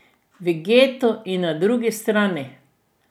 V getu in na drugi strani ...